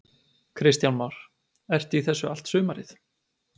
Kristján Már: Ertu í þessu allt sumarið?